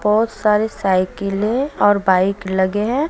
बहोत सारी साइकिले है और बाइक लगे हैं।